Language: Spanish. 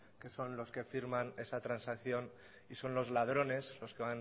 que son los que firman esa transacción y son los ladrones los que